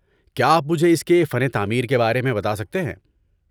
کیا آپ مجھے اس کے فن تعمیر کے بارے میں بتا سکتے ہیں؟